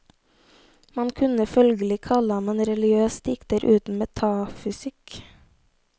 Man kunne følgelig kalle ham en religiøs dikter uten metafysikk.